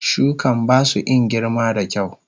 Shukan basu in girma da kyau.